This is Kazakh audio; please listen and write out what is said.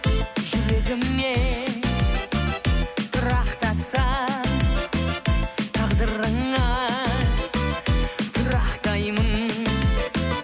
жүрегіңе тұрақтасам тағдырыңа тұрақтаймын